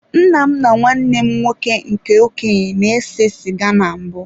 Nna m na nwanne m nwoke nke okenye na-ese sịga na mbụ.